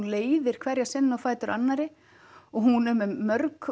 leiðir hverja senu á fætur annarri og hún er með mörg